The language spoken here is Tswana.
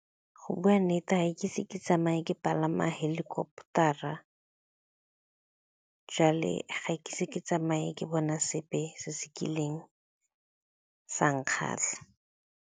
Go bua nnete ga ke ise ke tsamaye ke palama helicopter-ra, jwale ga ke ise ke tsamaye ke bona sepe se se kileng sa nkgatlha.